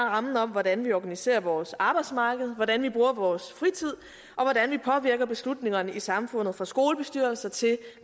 rammen om hvordan vi organiserer vores arbejdsmarked hvordan vi bruger vores fritid og hvordan vi påvirker beslutningerne i samfundet fra skolebestyrelser til